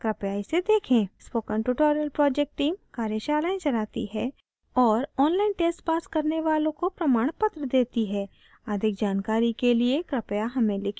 spoken tutorial project team कार्यशालाएं चलाती है और online tests पास करने वालों को प्रमाणपत्र देती है अधिक जानकरी के लिए कृपया हमें लिखें